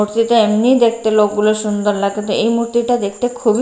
প্রতিটা এমনিই দেখতে লোক গলা সুন্দর লাগছে কিন্তু এই মুহূর্তে এটা খুব এ--